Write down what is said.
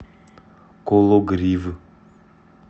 кологрив